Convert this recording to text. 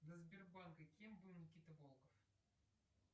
до сбербанка кем был никита волков